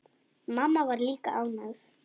Mamma var líka ánægð.